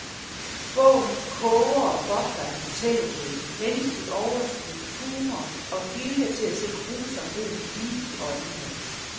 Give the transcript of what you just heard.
Bogen koger og bobler af fortælleglæde, menneskeligt overskud, humor, og vilje til at se grusomheden lige i øjnene.